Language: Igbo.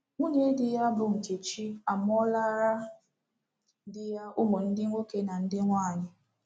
Nwunye di ya, bụ́ Nkechi, amụọlara di ya ụmụ ndị nwoke na ndị nwaanyị.